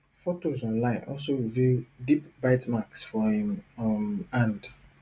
fotos online also reveal deep bite marks for im um hand